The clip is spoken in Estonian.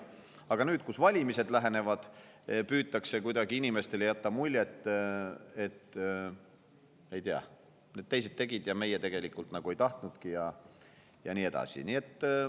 Aga nüüd, kui valimised lähenevad, püütakse inimestele kuidagi jätta muljet, et ei tea, teised tegid, nemad tegelikult ei tahtnudki ja nii edasi.